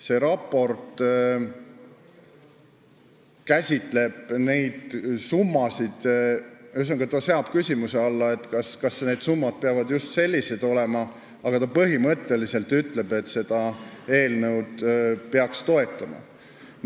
See raport käsitleb ka neid summasid ja seab küsimuse alla, kas need summad peavad just sellised olema, aga põhimõtteliselt see ütleb, et otsuse eelnõu peaks toetama.